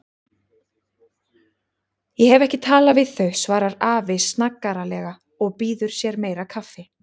Ég hef ekki talið þau, svarar afi snaggaralega og býður sér meira kaffi.